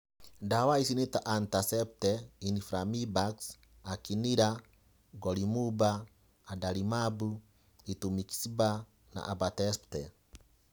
Ndawa ici nĩta etanercept, infliximab, anakinra, golimumab, adalimumab, rituximab, na abatacept.